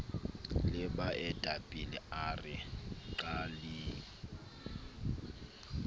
le baetapele a re qaleng